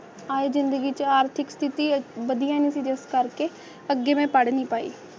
ਆਏ ਜ਼ਿੰਦਗੀ ਚ ਆਰਥਿਕ ਸਥਿਤੀ ਅਹ ਵਧੀਆ ਨਹੀਂ ਸੀ ਜਿਸ ਕਰਕੇ ਅੱਗੇ ਮੇਂ ਪੜ੍ਹ ਨਹੀਂ ਪਾਈ